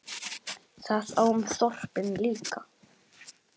Það á um þorpin líka.